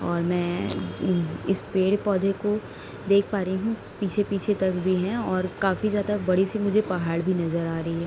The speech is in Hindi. और मै इस पेड़ पौधे को देख पा रही हूँ | पीछे पीछे तक भी है और काफी ज्यादा बड़ी सी मुझे पहाड़ भी नजर आ रही है|